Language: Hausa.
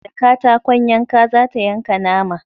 Da katakon yanka za ta yanka nama